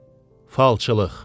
Falçılıq.